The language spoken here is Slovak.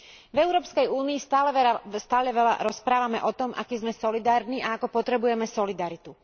V Európskej únii stále veľa rozprávame o tom, akí sme solidárni a ako potrebujeme solidaritu.